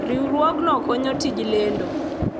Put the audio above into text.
Riwruogno konyo tij lendo.